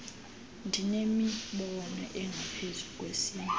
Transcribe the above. ndinemibono engaphezu kwesinye